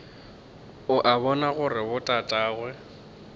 o a bona gore botatagwe